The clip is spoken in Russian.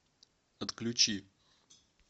отключи